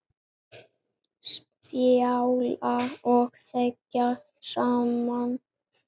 Spjalla og þegja saman.